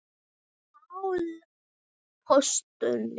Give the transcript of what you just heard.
Páll postuli?